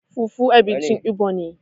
fufu abinci Igbo ne